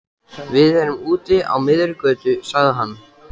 Við erum úti á miðri götu, sagði hann.